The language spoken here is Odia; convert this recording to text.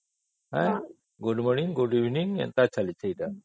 good morning good Evening ଏଗୁଡା ଚାଲିଛି